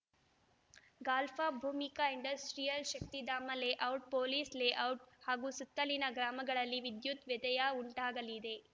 ಗಾಲ್ಫಾ Bhoomika industrial Shaktidhama layout police layout ಹಾಗೂ ಸುತ್ತಲಿನ ಗ್ರಾಮಗಳಲ್ಲಿ ವಿದ್ಯುತ್‌ ವ್ಯತ್ಯಯ ಉಂಟಾಗಲಿದೆ